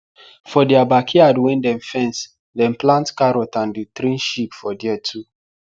for their backyard wen den fense dem plant carrot and dey train sheep for there too